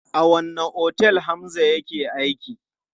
A wanne otel Hamza yake aiki?